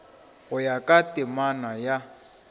go ya ka temana ya